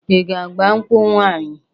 I ga-agba nkwụ nwanyị?